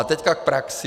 A teď k praxi.